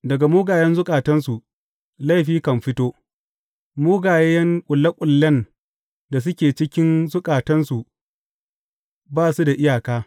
Daga mugayen zukatansu laifi kan fito mugaye ƙulle ƙullen da suke cikin zukatansu ba su da iyaka.